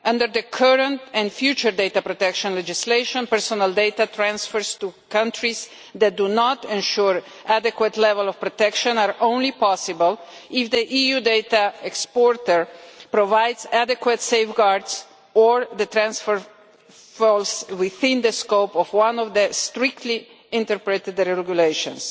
Under the current and future data protection legislation, personal data transfers to countries that do not ensure an adequate level of protection are possible only if the EU data exporter provides adequate safeguards or if the transfer falls within the scope of one of the strictly interpreted regulations.